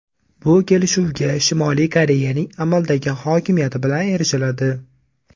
Bu kelishuvga Shimoliy Koreyaning amaldagi hokimiyati bilan erishiladi.